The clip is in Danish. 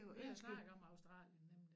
Vi har snakket om Australien men